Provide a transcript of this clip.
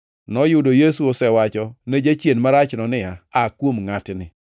Noyudo Yesu osewacho ne jachien marachno niya, “Aa kuom ngʼatni!”